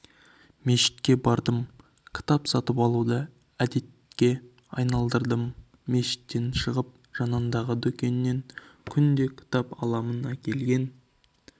мешітке бардым кітап сатып алуды әдетке айналдырдым мешіттен шығып жанындағы дүкеннен күнде кітап аламын әкелген